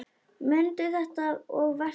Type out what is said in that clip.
Mundu þetta og vertu sæll!